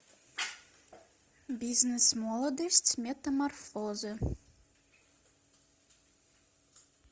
бизнес молодость метаморфозы